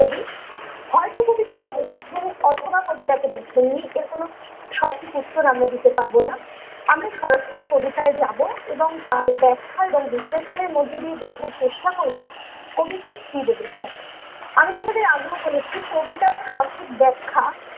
সঠিক উত্তর আমরা দিতে পারবো না ।আমরা সরাসরি কবিতায় যাবো এবং তার ব্যাখ্যা এবং বিশ্লেষণের মধ্যে দিয়ে বোঝার চেষ্টা করবো কবি ঠিক কি বলেছেন ।আমি তোমাদের আগেও বলেছি কবিতার সঠিক ব্যাখ্যা ।